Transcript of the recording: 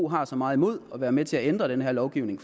har så meget imod at være med til at ændre den her lovgivning